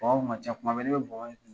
Bɔnbɔn in kun ka ca kuma bɛɛ ne bɛ bɔnbɔn in